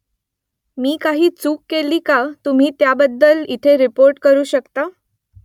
मी काही चूक केली का तुम्ही त्याबद्दल इथे रिपोर्ट करू शकता ?